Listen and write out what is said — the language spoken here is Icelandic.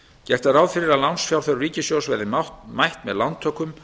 gert er ráð fyrir að lánsfjárþörf ríkissjóðs verði mætt með lántökum